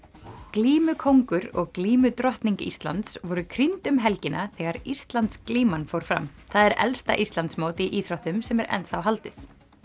glímukóngur og glímudrottning Íslands voru krýnd um helgina þegar Íslandsglíman fór fram það er elsta Íslandsmót í íþróttum sem er enn þá haldið